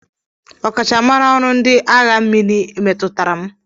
Ọkachamara ọrụ ndị agha mmiri metụtara m.